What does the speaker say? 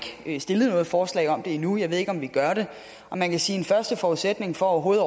stillet noget forslag om det endnu og jeg ved ikke om vi gør det og man kan sige at en første forudsætning for overhovedet